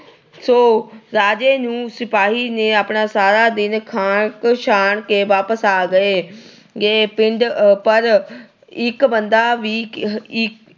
so ਰਾਜੇ ਦੇ ਸਿਪਾਹੀ ਸਾਰਾ ਦਿਨ ਖਾਕ ਛਾਣ ਕੇ ਵਾਪਸ ਆ ਗਏ। ਅਹ ਪਰ ਇੱਕ ਬੰਦਾ ਵੀ ਅਹ